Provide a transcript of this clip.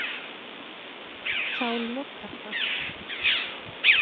Þá lokar það.